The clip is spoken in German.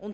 sollen.